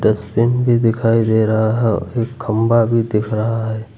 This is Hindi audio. डस्टबीन भी दिखाई दे रहा है और खंबा भी दिख रहा है।